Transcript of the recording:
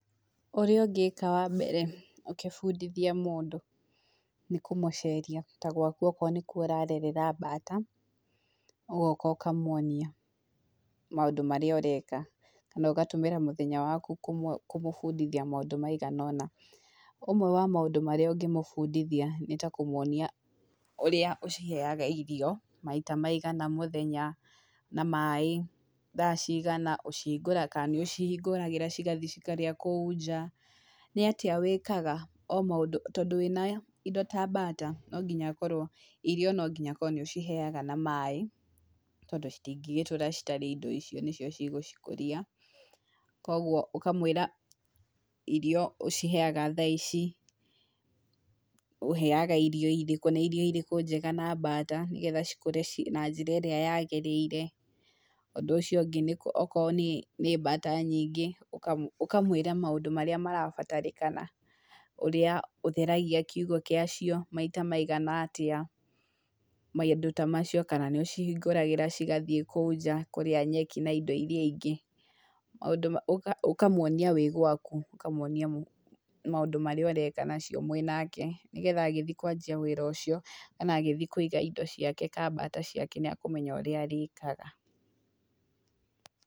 Ũrĩa ũngĩka wambere ũkĩbundithia mũndũ nĩ kũmũceria ta gwaku okorwo nĩ kuo ũrarerera mbata, ũgoka ũkamwonia maũndũ marĩa ũreka, na ũgatũmĩra mũthenya waku kũmũbundithia maũndũ maigana ũna, ũmwe wa maũndũ marĩa ũngĩmũbundithia, nĩ ta kũmwonia ũrĩa ũciheaga irio, maita maigana mũthenya, na maĩ thaa cigana, ũcihingũra kana nĩ ũcihingũragĩra cigathiĩ cikarĩa kũu nja, nĩ atia wĩkaga o maũndũ, tondũ wĩna indo ta mbata no nginya akorwo irio no nginya akorwo nĩ ũciheaga na maĩ, tondũ citingĩgĩtũũra citarĩ indo icio nĩcio cigũcikũria, koguo ũkamwĩra irio ũciheaga thaa ici, ũheaga irio irĩkũ, nĩ irio irĩkũ njega na mbata nĩgetha cikũra na njĩra ĩrĩa yagĩrĩire, ũndũ ũcio ũngũ okorwo nĩ nĩ mbata nyingĩ ũka ũkamwĩra maũndũ marĩa marabatarĩkana, ũrĩa ũtheragia kiugũ gĩa cio, maita maigana atĩa, maũndũ ta macio, kana nĩ ũcihingũragĩra cigathiĩ kũu nja kũrĩa nyeki na indo iria ingĩ, ũkamwonia wĩ gwaku, ũkamwonia maũndũ marĩa ũreka nacio mwĩ nake, nĩgetha agĩthiĩ kwanjia wĩra ũcio kana agĩthiĩ kũiga indo ciake kana mbata ciake nĩ akũmenya ũrĩa arĩkaga.